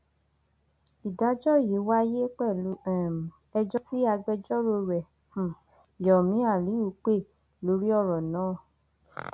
ìdájọ yìí wáyé pẹlú um ẹjọ tí agbẹjọrò rẹ um yomi aliu pè lórí ọrọ náà